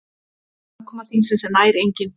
Aðkoma þingsins er nær engin.